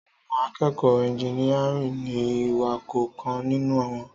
Àwón àkẹkọ ẹginiàrín ni iwà kọ kàn nínù won